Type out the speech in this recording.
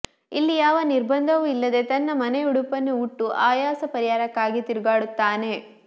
ಇಲ್ಲಿ ಯಾವ ನಿರ್ಬಂದವೂ ಇಲ್ಲದೆ ತನ್ನ ಮನೆಯುಡುಪನ್ನು ಉಟ್ಟು ಆಯಾಸಪರಿಹಾರಕ್ಕಾಗಿ ತಿರುಗಾಡುತ್ತಾನೆ